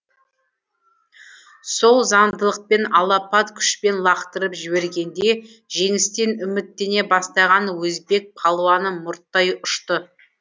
сол заңдылықпен алапат күшпен лақтырып жібергенде жеңістен үміттене бастаған өзбек палуаны мұрттай ұшты